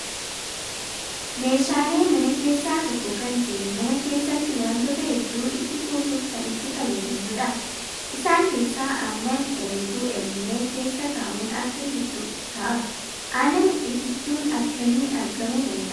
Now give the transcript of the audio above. Meeshaalee mana keessaa tokko kan ta'e mana keessatti wantoota hedduu itti kuusuuf kan itti fayyadamnudha. Isaan keessaa aannan ayetuu elmame keessa kaa'uun akka ititu ta'a. Aannan itittuun akkamiin argamuu danda'a?